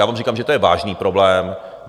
Já vám říkám, že to je vážný problém.